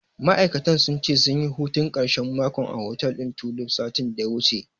Ma'auratan sun ce, sunyi hutun ƙarshen makon a hotel ɗin Tulif, satin da ya wuce.